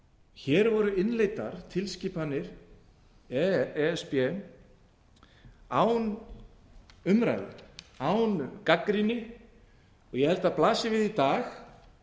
hér voru innleiddar tilskipanir e s b án umræðu án gagnrýni ég held að blasi við í dag